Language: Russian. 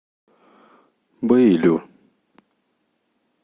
бэйлю